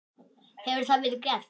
Hefur það verið gert?